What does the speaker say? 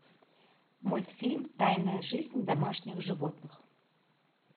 мультфильм тайная жизнь домашних животных